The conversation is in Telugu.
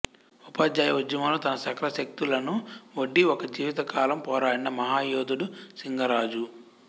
ఉపాధ్యాయ ఉద్యమంలో తన సకల శక్తులను ఒడ్డి ఒక జీవిత కాలం పోరాడిన మహాయోధుడు సింగరాజు